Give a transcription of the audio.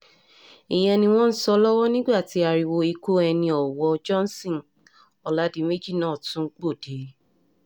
ìyẹn ni wọ́n ń sọ lọ́wọ́ nígbà tí ariwo ikú ẹni-ọwọ́ johnson ọládiméjì náà tún gbòde